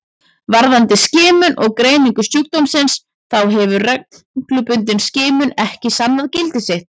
Varðandi skimun og greiningu sjúkdómsins þá hefur reglubundin skimun ekki sannað gildi sitt.